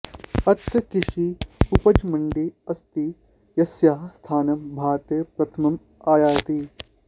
अत्र कृषि उपजमण्डी अस्ति यस्याः स्थानं भारते प्रथमम् आयाति